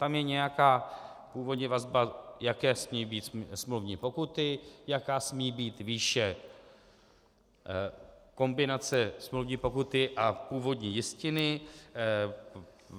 Tam je nějaká původní vazba, jaké smějí být smluvní pokuty, jaká smí být výše kombinace smluvní pokuty a původní jistiny.